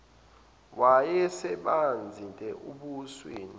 wayesemanzi te ebusweni